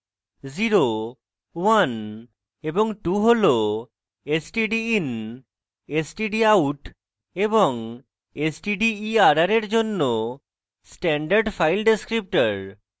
0 1 এবং 2 হল stdin stdout এবং stderr এর জন্য standard file descriptors